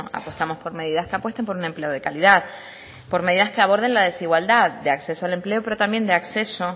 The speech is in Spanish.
apostamos por medidas que apuesten por un empleo de calidad por medidas que aborden la desigualdad de acceso al empleo pero también de acceso